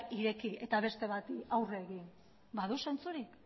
ireki eta beste bati aurre egin badu zentzurik